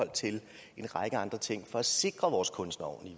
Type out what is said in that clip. en række andre ting for at sikre vores kunstnere